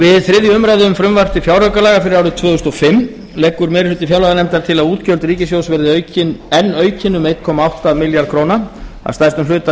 við þriðju umræðu um frumvarp til fjáraukalaga fyrir árið tvö þúsund og fimm leggur meiri hluti fjárlaganefndar til að útgjöld ríkissjóðs verði enn aukin um einn komma átta milljarða króna að stærstum hluta